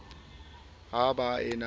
ha ba e na le